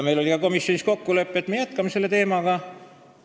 Meil oli ka komisjonis kokkulepe, et me jätkame tööd selle teemaga.